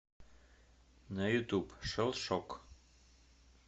на ютуб шелшок